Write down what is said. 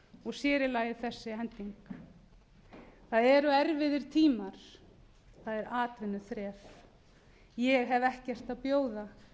og sér í lagi þessi hending það eru erfiðir tímar það er atvinnuþref ég hef ekkert að bjóða